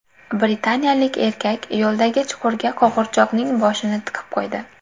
Britaniyalik erkak yo‘ldagi chuqurga qo‘g‘irchoqning boshini tiqib qo‘ydi.